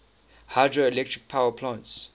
hydroelectric power plants